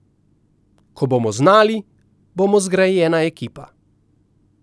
Ko bomo znali, bomo zgrajena ekipa.